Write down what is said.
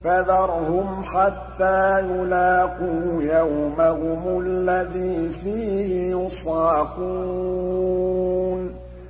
فَذَرْهُمْ حَتَّىٰ يُلَاقُوا يَوْمَهُمُ الَّذِي فِيهِ يُصْعَقُونَ